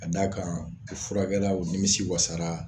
A d'a kan u furakɛra u nimisi wasara